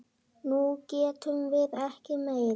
Nú getum við ekki meir.